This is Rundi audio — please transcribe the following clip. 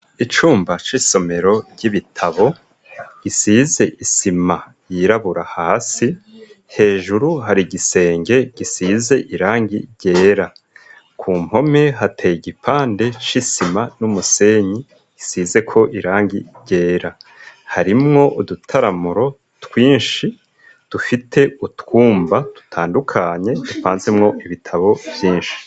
Icumba c'isomero ry'ibitabo gisize isima yirabura hasi hejuru hari gisenge gisize irangi ryera ku mpome hateye igipande c'isima n'umusenyi usizeko irangi ryera harimwo udutaramuro twinshi dufite utwumba tutandukanye dupanzemwo ibitabo vyinshi.